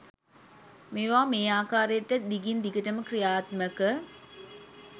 මේවා මේ ආකාරයට දිගින්දිගටම ක්‍රියාත්මක